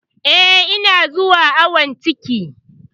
Eh, ina zuwa awon ciki.